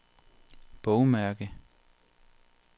bogmærke